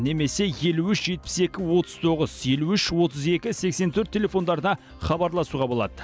немесе елу үш жетпіс екі отыз тоғыз елу үш отыз екі сексен төрт телефондарына хабарласуға болады